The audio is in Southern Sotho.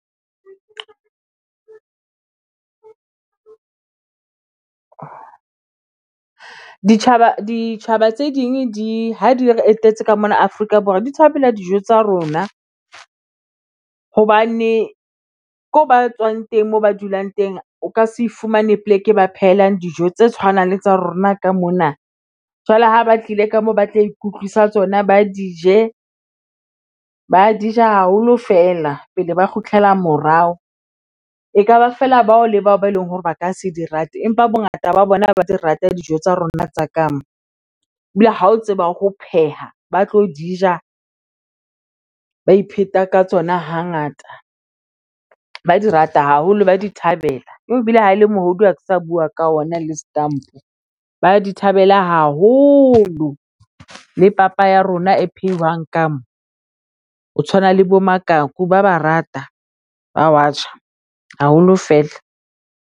Ditjhaba, ditjhaba tse ding di ha di re etetse ka mona Afrika Borwa, di thabela dijo tsa rona. Hobane ko ba tswang teng moo ba dulang teng o ka se fumane poleke e ba phelang dijo tse tshwanang le tsa rona ka mona. Jwale ha ba tlile ka mo ba tla ikutlwisa tsona ba dije. Ba di ja haholo fela pele ba kgutlela morao. E ka ba feela bao le bao ba eleng hore ba ka se di rate. Empa bongata ba bona ba di rata dijo tsa rona tsa ka mo. Ebile ha o tseba ho pheha, ba tlo di ja ba ipheta ka tsona ha ngata. Ba di rata haholo, ba di thabela. Ebile ha e le mohlodi ha ke sa bua ka ona le setampo, ba di thabela hao haholo. Le papa ya rona e phehuwang ka mo. O tshwana le bo ba ba rata, ba wa ja haholo fela.